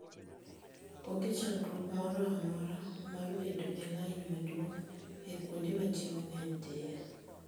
Onge chandruok moro amora mar bedo e lain maduong' e kuonde ma ji mang'eny dhiye.